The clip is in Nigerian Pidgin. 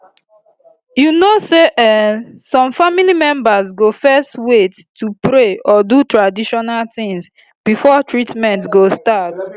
you know say[um]some family members go fezz wait to pray or do traditional tins before treatment go start